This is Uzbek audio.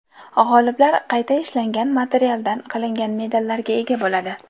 G‘oliblar qayta ishlangan materialdan qilingan medallarga ega bo‘ladi.